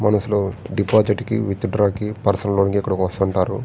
మనుషులు డిపోసిట్ కి withdraw కి పర్సనల్ లోన్ కి ఇక్కడకి వస్తు ఉంటారు.